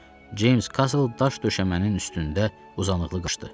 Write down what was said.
Ceyms Kasl daş döşəmənin üstündə uzanıqlı idi.